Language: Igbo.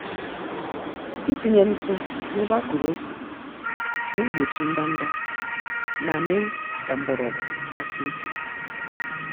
Itinye ntụ n'ebe akụrụ ose, naegbochi ndanda, na mee ka mgbọrọgwụ gbasie ike.